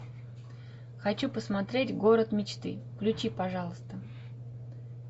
хочу посмотреть город мечты включи пожалуйста